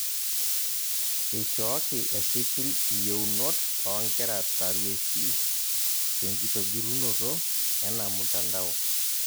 Eishooki esipil iyeunot oonkera tarueshi tenkitobirunoto ena mtandao